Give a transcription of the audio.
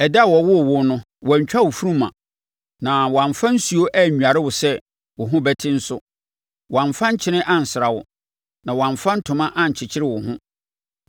Ɛda a wɔwoo wo no, wɔantwa wo funuma, na wɔamfa nsuo annware wo sɛ wo ho bɛte nso, wɔamfa nkyene ansra wo, na wɔamfa ntoma ankyekyere wo ho.